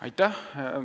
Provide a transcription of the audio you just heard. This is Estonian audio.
Aitäh!